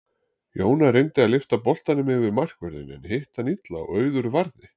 Jóna reyndi að lyfta boltanum yfir markvörðinn en hitti hann illa og Auður varði.